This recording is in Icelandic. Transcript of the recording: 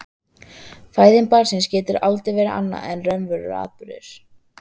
Fæðing barns getur aldrei verið annað en raunverulegur atburður.